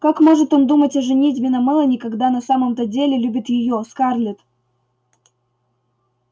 как может он думать о женитьбе на мелани когда на самом-то деле любит её скарлетт